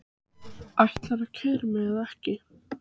Ætlarðu að keyra mig eða ekki?